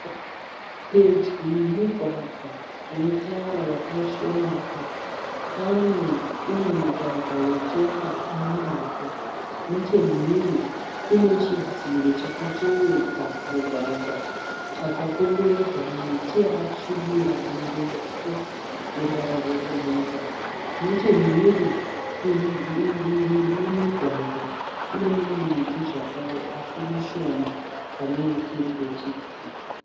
Pedyo nemugwagwa wetara wakaisvonaka. Pane umwe mugwagwa wetsoka unemavhu. Nechemhiri kune chidziro chakatevedza mugwagwa. Chakakomberedza miti yakasvibira mirefu yeruvara rwebumhudza. Nechemhiri kudivi rine mugwagwa kune mimwe miti zvakare asi mishoma pane irí seri kwechidziro.